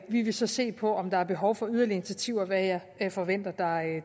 vi vil så se på om der er behov for yderligere initiativer hvad jeg forventer